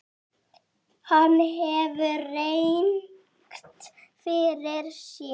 Hann hefur rangt fyrir sér.